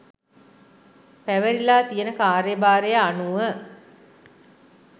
පැවරිලා තියෙන කාර්යභාරය අනුව